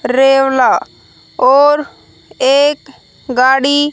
और एक गाड़ी--